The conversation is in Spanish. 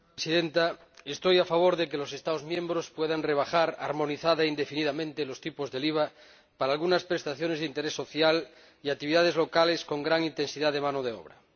Señora Presidenta, estoy a favor de que los Estados miembros puedan rebajar armonizada e indefinidamente los tipos del IVA para algunas prestaciones de interés social y actividades localeBs con gran intensidad de mano de obra.